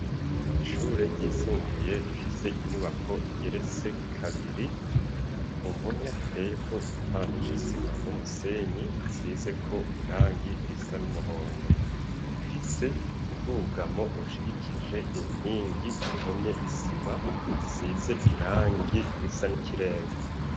Ishure ryisumbuye rifise inyubako igeretse kabiri, ku mpome hateyeko igipande c'isima n'umusenyi, hasizeko irangi risa n'umuhondo bifise ubwugamo ushigikije inkingi ihomye isima size irangi risa n'ikirere.